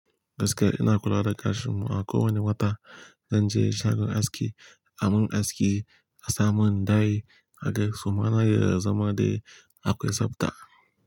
Gaskiya ina kula da ƙash in a kowane wata. Zan je shagon aski a mun aski a samun dye, haka kuma na iya zama dai akwai tsabta.